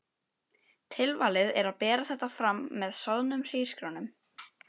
Tilvalið er að bera þetta fram með soðnum hrísgrjón um.